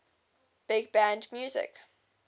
big band music